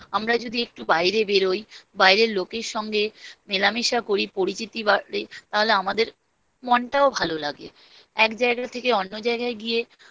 আমরা যদি একটু বাইরে বেরোই বাইরের লোকের সঙ্গে মেলামেশা করি, পরিচিতি বাড়ে, তাহলে আমাদের মনটাও ভালো লাগে। এক জায়গা থেকে অন্য জায়গায় গিয়ে